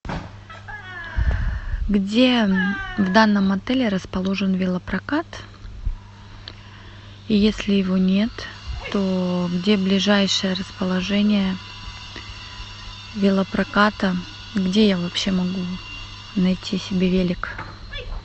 где в данном отеле расположен велопрокат и если его нет то где ближайшее расположение велопроката где я вообще могу найти себе велик